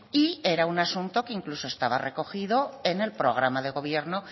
y era un asunto que incluso estaba recogido en el programa de gobierno